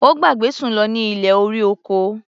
Ó gbàgbé Sùn lọ ní ilé-orí-oko.